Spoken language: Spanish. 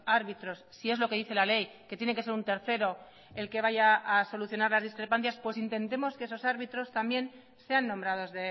árbitros si es lo que dice la ley que tiene que ser un tercero el que vaya a solucionar las discrepancias pues intentemos que esos árbitros también sean nombrados